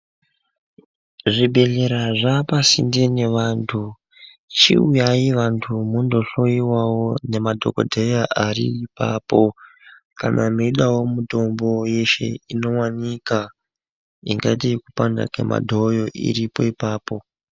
Zvibhedhlera zvaa pasinde nevantu. Chiuyai vantu mundohloyiwawo nemadhokodheya ari ipapo, kana meidawo mitombo yeshe inowanika ingati pangaite madhoyo, iripo ipapo.